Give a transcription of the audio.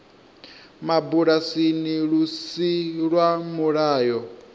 mabulasini lu si lwa mulayo